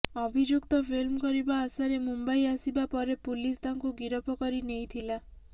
ଅଭିଯୁକ୍ତ ଫିଲ୍ମ କରିବା ଆଶାରେ ମୁମ୍ବାଇ ଆସିବା ପରେ ପୁଲିସ ତାଙ୍କୁ ଗିରଫ କରି ନେଇଥିଲା